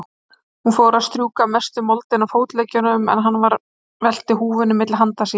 Hún fór að strjúka mestu moldina af fótleggjunum, en hann velti húfunni milli handa sér.